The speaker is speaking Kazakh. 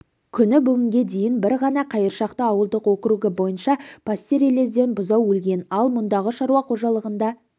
күні бүгінге дейін бір ғана қайыршақты ауылдық округі бойынша пастереллезден бұзау өлген ал мұндағы шаруа қожалығында